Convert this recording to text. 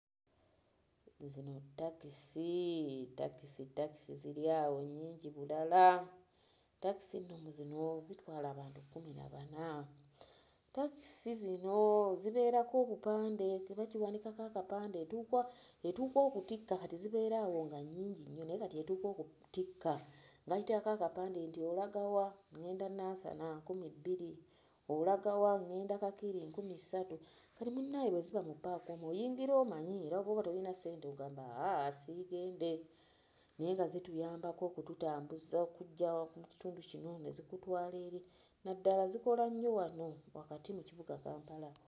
Zino takisi, takisi takisi ziri awo nnyingi bulala. Takisi zino zitwala abantu kkumi na bana, takisi zino zibeerako obupande nti bwe bagiwanikako akapande etuuka etuuka okutikka kati zibeera awo nga nnyingi nnyo naye kati etuuka okutikka bagiteekako akapande nti olaga wa? ŋŋenda Nansana, nkumi bbiri, olaga wa? ŋŋenda Kakiri, nkumi ssatu. Kati munnaye bwe ziba mu ppaaka omwo oyingira omanyi ne bwoba toyina ssente ogamba aaa siigende naye nga zituyambako okututambuza okuggya mu kitundu kino ne zikutwala eri, naddala zikola nnyo wano wakati mu kibuga Kampala.